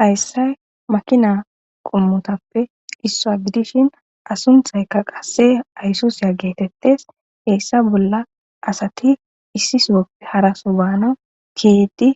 hayssay makina qommotappe issoa gidishin a sunthaykka qasse aysuza geetettes heessa bolla asati issi sowappe haraso baana giidi